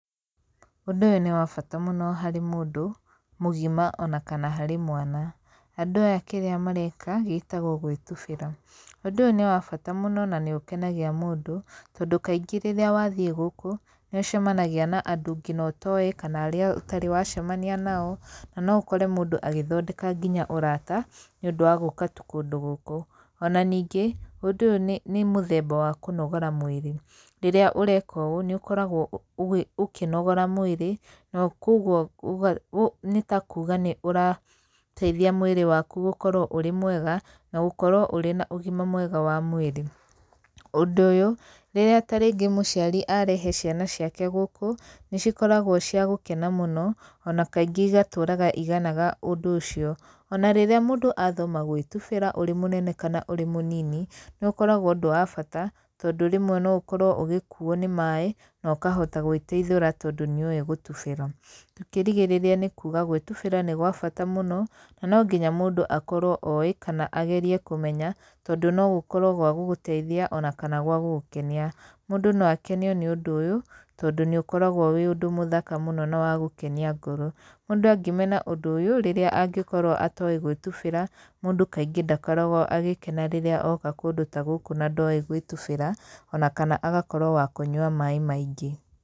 Ũndũ ũyũ nĩ wa bata mũno harĩ mũndũ mũgima ona kana harĩ mwana. Andũ aya kĩrĩa mareka gĩtagwo gwĩtubĩra. Ũndũ ũyũ nĩ wa bata mũno na nĩ ũkenagia mũndũ tondũ kaingĩ rĩrĩa wathiĩ gũkũ, nĩ ũcemanagia na andũ nginya ũtoĩ kana arĩa ũtarĩ wacemania nao, na no ũkore mũndũ agĩthondeka nginya ũrata nĩ ũndũ wa gũka tu kũndũ gũkũ. Ona ningĩ, ũndũ ũyũ nĩ, nĩ mũthemba wa kũnogora mwĩrĩ. Rĩrĩa ũreka ũũ nĩ ũkoragwo ũkĩnogora mwĩrĩ na kũguo nĩ ta kuga nĩ ũrateithia mwĩrĩ waku gũkorwo ũrĩ mwega na gũkorwo ũrĩ na ũgima mwega wa mwĩrĩ. Ũndũ ũyũ, rĩrĩa ta rĩngĩ mũciari arehe ciana ciake gũkũ, nĩ cikoragwo cia gũkena mũno ona kaingĩ igatũraga iganaga ũndũ ũcio. Ona rĩrĩa mũndũ athoma gwĩtubĩra ũrĩ mũnene kana ũrĩ mũnini, nĩ ũkoragwo ũndũ wa bata, tondũ rĩmwe no ũkorwo ũgĩkuuo nĩ maĩ na ũkahota gwĩteithũra tondũ nĩ ũĩ gũtubĩra. Tũkĩrigĩrĩria nĩ kuga gwĩtubĩra nĩ gwa bata mũno, na no nginya mũndũ akorwo oĩ kana agerie kũmenya, tondũ no gũkorwo gwa gũgũteithia ona kana gwa gũgũikenia. Mũndũ no akenio nĩ ũndũ ũyũ tondũ nĩ ũkoragwo wĩ ũndũ mũthaka mũno na wa gũkenia ngoro. Mũndũ angĩmena ũndũ ũyũ rĩrĩa angĩkorwo atoĩ gwĩtubĩra mũndũ kaingĩ ndakoragwo agĩkena rĩrĩa oka kũndũ ta gũkũ na ndoĩ gwĩtubĩra, ona kana agakorwo wa kũnyua maĩ maingĩ.